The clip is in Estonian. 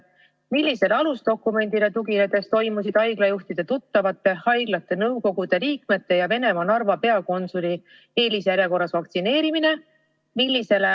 Millisele alusdokumendile tuginedes toimus haiglajuhtide tuttavate, haiglate nõukogu liikmete ja Venemaa Narva peakonsuli eelisjärjekorras vaktsineerimine?